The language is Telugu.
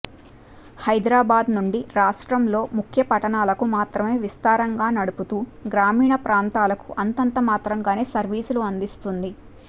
హైదరాబాద్ నుండి రాష్ట్రంలో ముఖ్యపట్టణాలకు మాత్రమేవిస్తారంగా నడుపుతూ గ్రా మీణ ప్రాంతాలకు అంతంత మాత్రంగానే సర్వీసులు అందిస్తోంది